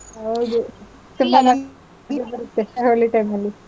ಹೌದು. ಹೋಳಿ time ನಲ್ಲಿ.